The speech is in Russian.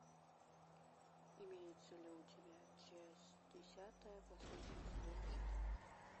имеется ли у тебя часть десятая последнего сезона штамп